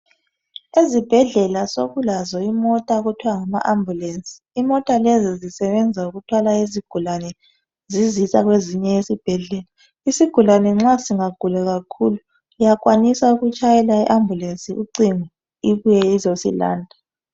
Ezibhedlela sekulazo imota okuthiwa ngama "Ambulance" imota lezi zisebenza ukuthwala izigulane zizisa kwezinye izibhedlela, isigulane nxa singagula kakhulu uyakwanisa ukutshayela i"Ambulance" ucingo ibuye izosilanda.